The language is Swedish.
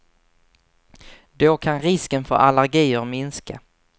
Då kan risken för allergier minska.